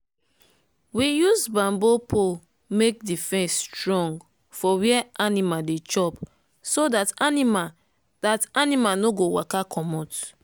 we use bamboo pole make the fence strong for where animal dey chop so dat animal dat animal no go waka commot.